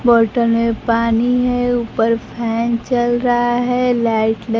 बोतल में पानी है ऊपर फैन चल रहा है लाइट ल--